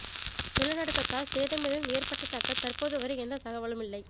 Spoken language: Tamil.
நிலநடுக்கத்தால் சேதம் எதுவும் ஏற்பட்டதாக தற்போது வரை எந்த தகவலும் இல்லை